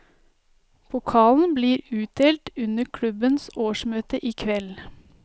Pokalen blir utdelt under klubbens årsmøte i kveld.